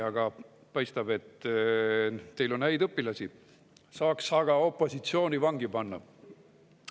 Aga paistab, et teil on häid õpilasi – saaks aga opositsiooni vangi panna!